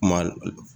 Ma